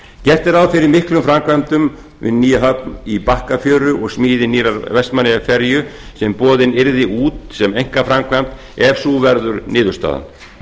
gert er ráð fyrir miklum framkvæmdum við höfn í bakkafjöru og smíði nýrrar vestmannaeyjaferju sem boðin yrði út sem einkaframkvæmd ef sú verður niðurstaðan